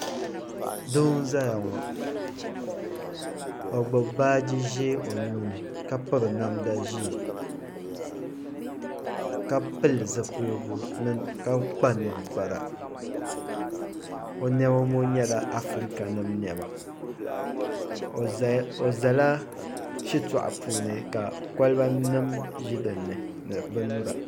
Doo n zaya ŋɔ o gbubi baaji zɛɛ o nuu ni ka piri namda zɛɛ ka pili zupiligu ka kpa ninkpara o nɛma ŋɔ yɛla Afirika nima nɛma o zs la shitɔɣu puuni ka koliba nima zi dinni ni bini nyura.